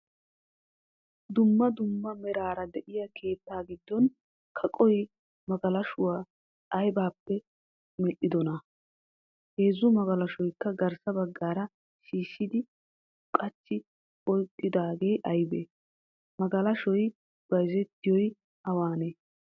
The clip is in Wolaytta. Duummaa duummaa meraara de'iya keettaa giddon kaqqiyo magalashshuwaa aybappe medhdhidona? Heezzu magalashshuwakka garssa baggara shishshidi qachchi oyqqidage aybee? Magalashshoy bayzettiyoy awane?